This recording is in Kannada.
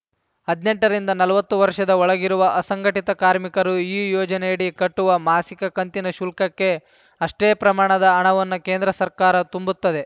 ಹದಿನೆಂಟರಿಂದ ನಲ್ವತ್ತು ವರ್ಷದ ಒಳಗಿರುವ ಅಸಂಘಟಿತ ಕಾರ್ಮಿಕರು ಈ ಯೋಜನೆಯಡಿ ಕಟ್ಟುವ ಮಾಸಿಕ ಕಂತಿನ ಶುಲ್ಕಕ್ಕೆ ಅಷ್ಟೇ ಪ್ರಮಾಣದ ಹಣವನ್ನು ಕೇಂದ್ರ ಸರ್ಕಾರ ತುಂಬುತ್ತದೆ